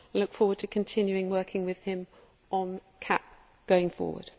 I look forward to continue working with him on CAP going forward.